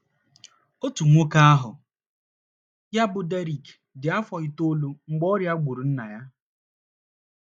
Otu nwoke aha ya bụ Derrick dị afọ itoolu mgbe ọrịa obi gburu nna ya.